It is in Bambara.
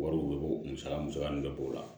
Wariw musaka musaka min bɛ bɔ o la